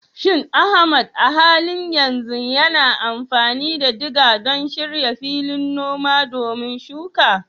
Shin Ahmad a halin yanzu yana amfani da diga don shirya filin noma domin yin shuka?